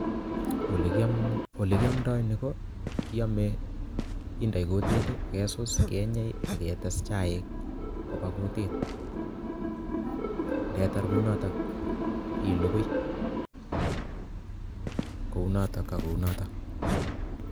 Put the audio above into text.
Ole kiamdoi, ole kiamdoi nii, ko kiamei, inde kutit, kesus, kenyei, aketes chaik koba kutit, ndetar kunotok, ilugui kounotok ak kounotok